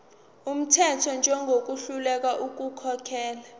wumthetho njengohluleka ukukhokhela